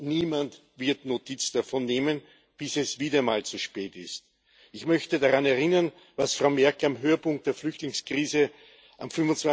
Niemand wird Notiz davon nehmen, bis es wieder mal zu spät ist. Ich möchte daran erinnern, was Frau Merkel am Höhepunkt der Flüchtlingskrise am